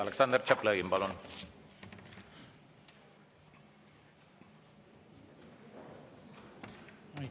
Aleksandr Tšaplõgin, palun!